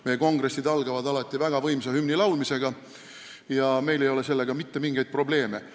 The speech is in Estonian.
Meie kongressid algavad alati väga võimsa hümni laulmisega ja meil ei ole sellega mitte mingeid probleeme.